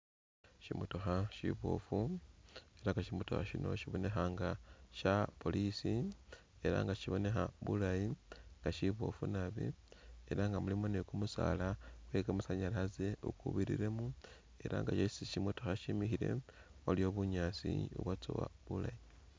Shimotokha shiboofu ela nga shimotokha shino shibonekha nga sha police ela nga shibonekha bulayi nga shiboofu naabi ela nga mulimo ni kumusaala kwe kamasanyalaze ukubiriremo ela nga esi shimotokha shimikhile waliwo bunyaasi bubwatsowa bulayi